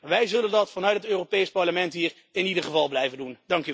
Wij zullen dat vanuit het Europees Parlement hier in ieder geval blijven doen.